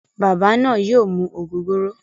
Baba naa yoo mu ogogoro.